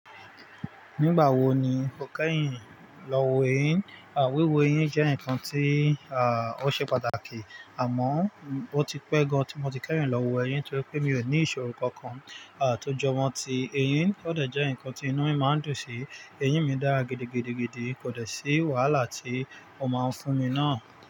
Nígbà wo ni o kẹ́yìn lọ wọ eyín? Wiwù eyín jẹ́ nǹkan tí, ó ṣe pàtàkì, àmọ́ o ti pẹ́ gan tí mo ti kẹ́yìn lọ wú eyín torí pé mi ò ní ìṣòro kankan, à, tó jọwọ ti eyín kó dẹ̀ jẹ́ nǹkan tí inú mi máa ń dùn sí. Eyín mi dárá gidigidigidi kò dẹ̀ sí wàhálà tí o máa ń fún mi náà.